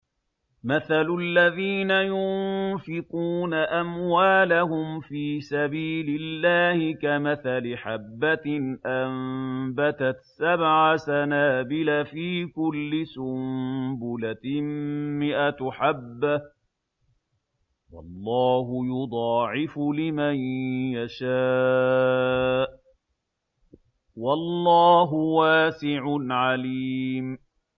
مَّثَلُ الَّذِينَ يُنفِقُونَ أَمْوَالَهُمْ فِي سَبِيلِ اللَّهِ كَمَثَلِ حَبَّةٍ أَنبَتَتْ سَبْعَ سَنَابِلَ فِي كُلِّ سُنبُلَةٍ مِّائَةُ حَبَّةٍ ۗ وَاللَّهُ يُضَاعِفُ لِمَن يَشَاءُ ۗ وَاللَّهُ وَاسِعٌ عَلِيمٌ